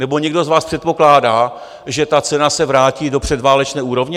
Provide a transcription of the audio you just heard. Nebo někdo z vás předpokládá, že ta cena se vrátí do předválečné úrovně?